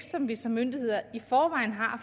som vi som myndigheder i forvejen har